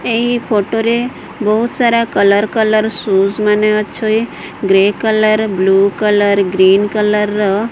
ଏଇ ଫଟୋ ରେ ବହୁତ ସାରା କଲର କଲର ସୁଜ୍ ମାନେ ଅଛଇ grey colour blue colour green colour ର।